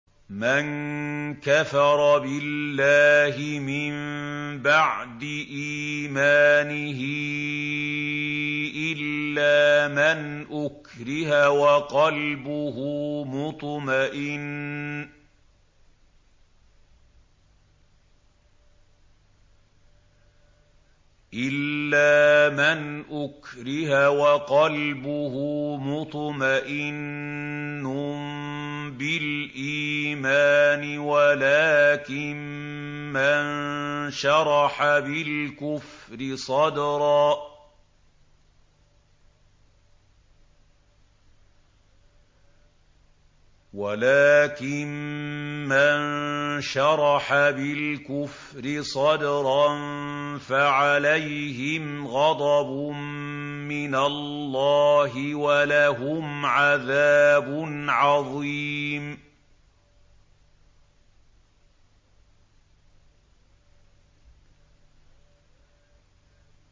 مَن كَفَرَ بِاللَّهِ مِن بَعْدِ إِيمَانِهِ إِلَّا مَنْ أُكْرِهَ وَقَلْبُهُ مُطْمَئِنٌّ بِالْإِيمَانِ وَلَٰكِن مَّن شَرَحَ بِالْكُفْرِ صَدْرًا فَعَلَيْهِمْ غَضَبٌ مِّنَ اللَّهِ وَلَهُمْ عَذَابٌ عَظِيمٌ